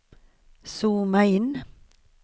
zooma in